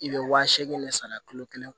I bɛ wa seegin de sara kalo kelen